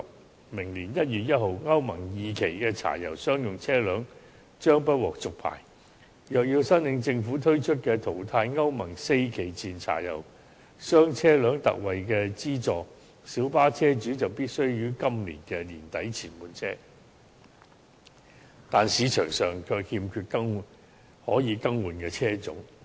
在明年1月1日，歐盟 II 期的柴油商用車輛將不獲續牌，若要在政府推出的"淘汰歐盟四期以前柴油商業車輛特惠資助計劃"下申請資助，小巴車主必須於今年年底前換車，但市場上卻欠缺可以更換的車種。